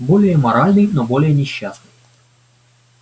более моральный но более несчастный